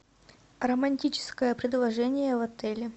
романтическое предложение в отеле